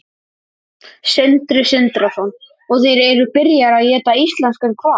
Sindri Sindrason: Og þeir eru byrjaðir að éta íslenskan hval?